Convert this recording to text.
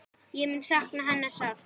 Ég mun sakna hennar sárt.